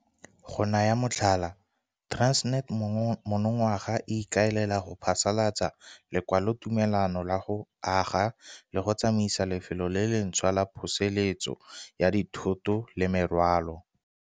Go naya motlhala, Transnet monongwaga e ikaelela go phasalatsa lekwalotumelano la go aga le go tsamaisa lefelo le lentšhwa la pholosetso ya dithoto le merwalo.